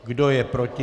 Kdo je proti?